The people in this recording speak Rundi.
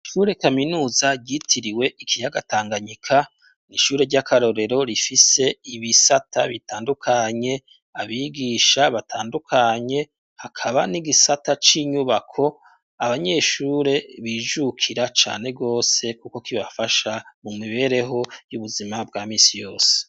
Ishure kaminuza ryitiriwe ikiyaga Tanganyika, n'ishure ry'akarorero rifise ibisata bitandukanye, abigisha batandukanye, hakaba n'igisata c'inyubako abanyeshure bijukira cane gose kuko kibafasha mu mibereho y'ubuzima bwa misi yose.